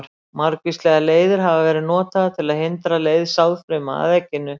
Margvíslegar leiðir hafa verið notaðar til að hindra leið sáðfruma að egginu.